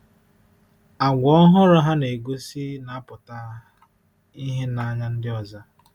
Àgwà ọhụrụ ha na-egosi na-apụta ìhè n’anya ndị ọzọ.